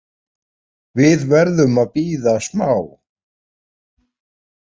Við verðum að bíða smá.